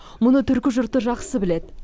мұны түркі жұрты жақсы біледі